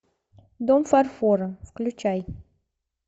дом фарфора включай